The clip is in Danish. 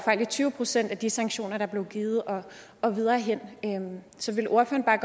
i tyve procent af de sanktioner der blev givet og og videre hen så vil ordføreren